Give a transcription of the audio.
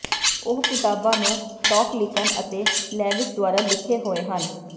ਉਹ ਕਿਤਾਬਾਂ ਨੂੰ ਟੌਕਲਿਕਨ ਅਤੇ ਲੇਵਿਸ ਦੁਆਰਾ ਲਿਖੇ ਹੋਏ ਹਨ